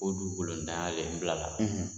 O dugukolo ntanya de ye n bila la.